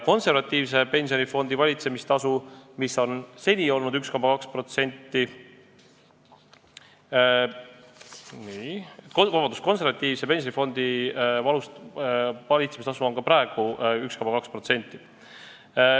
Konservatiivse pensionifondi valitsemistasu on ka praegu 1,2%.